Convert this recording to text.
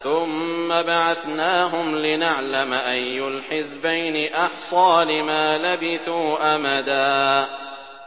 ثُمَّ بَعَثْنَاهُمْ لِنَعْلَمَ أَيُّ الْحِزْبَيْنِ أَحْصَىٰ لِمَا لَبِثُوا أَمَدًا